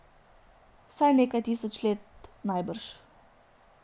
Vsaj nekaj tisoč let najbrž.